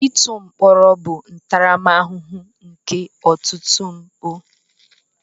Ịtụ mkpọrọ bụ ntaramahụhụ nke ọtụtụ mpụ.